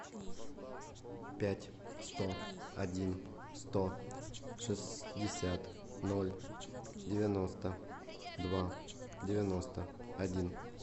пять сто один сто шестьдесят ноль девяносто два девяносто один